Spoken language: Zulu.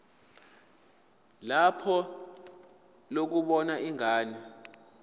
lakho lokubona ingane